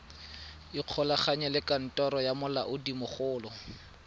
ikgolaganye le kantoro ya molaodimogolo